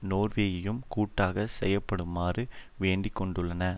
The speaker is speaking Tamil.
நோர்வேயையும் கூட்டாக செயற்படுமாறு வேண்டி கொண்டுள்ளன